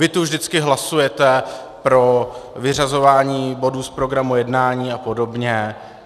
Vy tu vždycky hlasujete pro vyřazování bodů z programu jednání a podobně.